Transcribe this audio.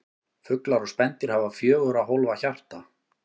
Fuglar og spendýr hafa fjögurra hólfa hjarta.